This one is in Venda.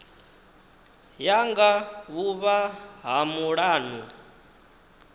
ya nga vhuvha ha mulanu